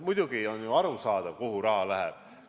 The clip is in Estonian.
Muidugi, on ju arusaadav, kuhu raha läheb.